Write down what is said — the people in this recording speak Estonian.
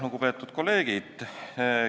Lugupeetud kolleegid!